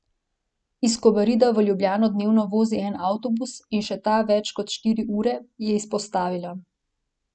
Iz Kobarida v Ljubljano dnevno vozi en avtobus, in še ta več kot štiri ure, je izpostavila.